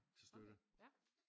Til støtte